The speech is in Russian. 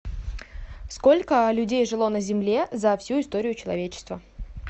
сколько людей жило на земле за всю историю человечества